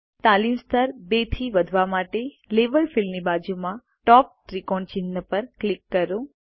તાલીમ સ્તર 2 થી વધારવા માટે લેવેલ ફિલ્ડની બાજુમાં ટોપ ત્રિકોણ ચિહ્ન પર ક્લિક કરો